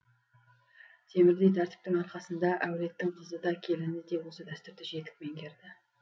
темірдей тәртіптің арқасында әулеттің қызы да келіні де осы дәстүрді жетік меңгерді